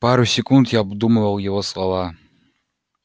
пару секунд я обдумывал его слова